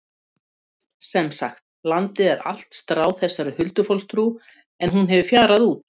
Sem sagt, landið er allt stráð þessari huldufólkstrú en hún hefur fjarað út.